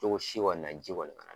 Cogo si kɔni na ji kɔni ka na